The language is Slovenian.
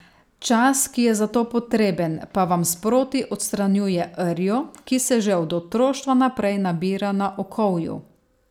Čas, ki je za to potreben, pa vam sproti odstranjuje rjo, ki se že od otroštva naprej nabira na okovju.